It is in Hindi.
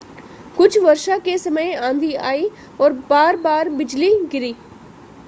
कुछ वर्षा के समय आंधी आई और बार-बार बिजली गिरी